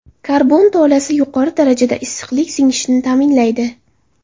Karbon tolasi yuqori darajada issiqlikni singishini ta’minlaydi.